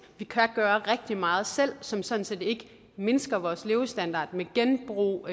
vi kan gøre rigtig meget selv som sådan set ikke mindsker vores levestandard med genbrug